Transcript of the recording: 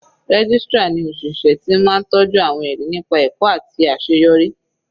Registrar ni òṣìṣẹ́ ti máa tọjú àwọn ẹrí nípa ẹ̀kọ́ àti àṣeyọrí.